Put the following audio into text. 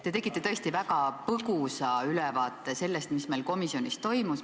Te tegite tõesti väga põgusa ülevaate sellest, mis meil komisjonis toimus.